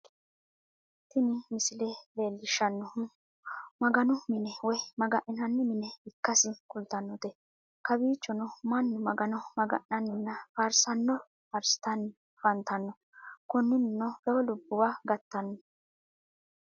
Tini misile leelishanohu maganu mine woyi maga'ninanni mine ikkasi kulitanote kowichonno manu magano maga'naninna faarisaano faarisitanni afantanno, koninino lowo lubiwa gatano